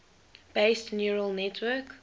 based neural network